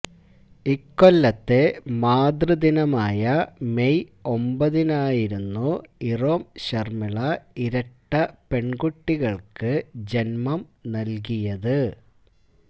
ഇക്കൊല്ലത്തെ മാതൃദിനമായ മെയ് ഒമ്പതിനായിരുന്നു ഇറോം ശര്മിള ഇരട്ട പെണ്കുട്ടികള്ക്ക് ജന്മം നല്കിയത്